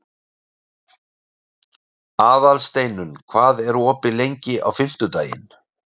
Aðalsteinunn, hvað er opið lengi á fimmtudaginn?